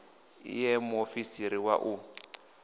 i ṋee muofisiri wa u